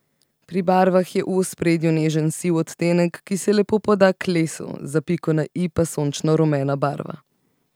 Pri barvah je v ospredju nežen siv odtenek, ki se lepo poda k lesu, za piko na i pa sončno rumena barva.